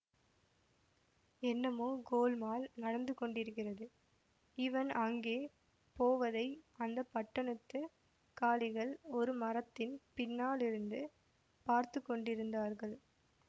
என்னமோ கோல்மால் நடந்து கொண்டிருக்கிறது இவன் அங்கே போவதை அந்த பட்டணத்துக் காலிகள் ஒரு மரத்தின் பின்னாலிருந்து பார்த்து கொண்டிருந்தார்கள்